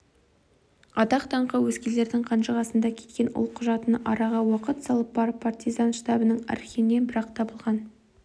атақ-даңқы өзгелердің қанжығасында кеткен ол құжаты араға уақыт салып барып партизан штабының архивінен бір-ақ табылған